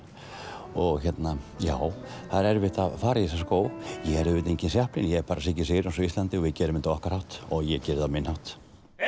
og hérna já það er erfitt að fara í þessa skó ég er auðvitað enginn ég er bara Siggi Sigurjóns á Íslandi og við gerum þetta á okkar hátt og ég geri á minn hátt